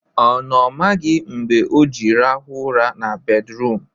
Ọ na ọ maghị mgbe o ji rahụ ụra na bedruum?